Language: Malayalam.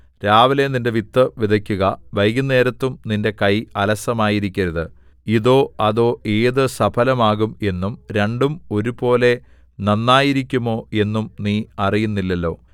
രാവിലെ നിന്റെ വിത്ത് വിതയ്ക്കുക വൈകുന്നേരത്തും നിന്റെ കൈ അലസമായിരിക്കരുത് ഇതോ അതോ ഏതു സഫലമാകും എന്നും രണ്ടും ഒരുപോലെ നന്നായിരിക്കുമോ എന്നും നീ അറിയുന്നില്ലല്ലോ